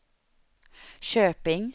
Köping